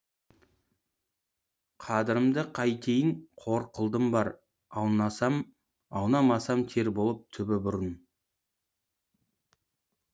қадірімді қайтейін қор қылдым бар аунамасам тер болып түбі бұрын